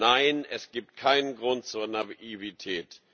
Nein, es gibt keinen Grund zur Naivität.